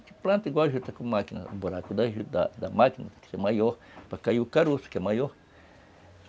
planta igual a juta com máquina, o buraco da máquina, que é maior, para cair o caroço, que é maior.